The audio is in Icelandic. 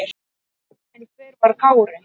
En hver var Kári?